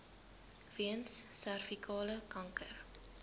weens servikale kanker